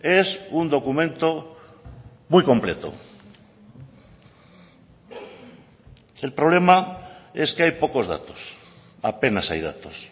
es un documento muy completo el problema es que hay pocos datos apenas hay datos